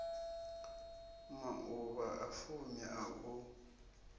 mauvha a fumi a u